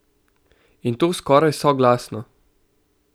In to skoraj soglasno!